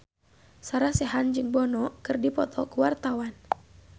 Sarah Sechan jeung Bono keur dipoto ku wartawan